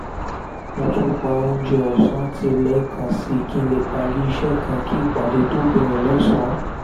mo tún pa oúnjẹ ọ̀sán tì lẹ́ẹ̀kan sí i kí n lè parí iṣẹ́ kan kí ìpàdé tó bẹ̀rẹ̀ lọ́sàn-án